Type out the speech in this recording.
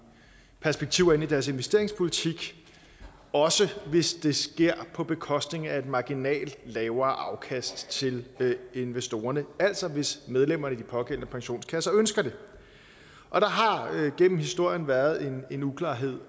perspektiver ind i deres investeringspolitik også hvis det sker på bekostning af et marginalt lavere afkast til investorerne altså hvis medlemmerne i de pågældende pensionskasser ønsker det og der har gennem historien været en en uklarhed